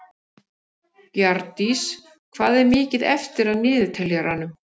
Bjarndís, hvað er mikið eftir af niðurteljaranum?